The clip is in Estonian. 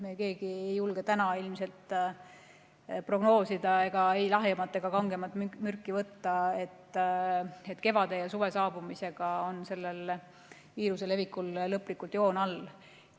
Me keegi ei julge täna ilmselt prognoosida ja ei lahjemat ega kangemat mürki võtta, et kevade ja suve saabumisega on sellel viiruse levikul lõplikult joon all.